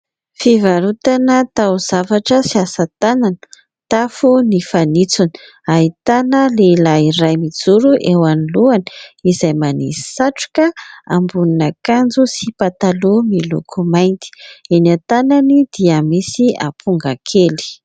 Fivarotana taozavatra sy asa tanana. Tafo ny fanitsony, ahitana lehilahy iray mijoro eo anoloany izay manisy satroka, ambonin'akanjo sy pataloha miloko mainty, eny an-tanany dia misy amponga kely.